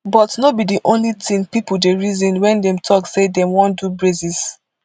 but no be di only tin pipo dey reason wen dem tok say dem wan do braces